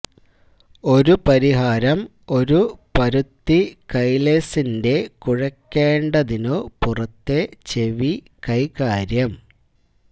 ഒരു പരിഹാരം ഒരു പരുത്തി കൈലേസിൻറെ കുഴക്കേണ്ടതിന്നു പുറത്തെ ചെവി കൈകാര്യം